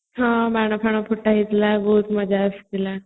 ହଁ ବାଣ ଫାଣ ଫୁଟାହୋଇଥିଲା ବହୁତ ମଜା ଆସୁଥିଲା